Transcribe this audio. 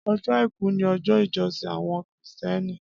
Ọjọ áikù ni ọjọ ijọsin awọn Krístìẹní